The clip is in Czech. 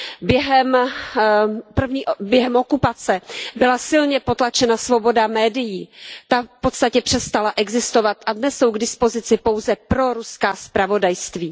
Během okupace byla silně potlačena svoboda médií, ta v podstatě přestala existovat a dnes jsou k dispozici pouze proruská zpravodajství.